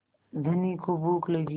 धनी को भूख लगी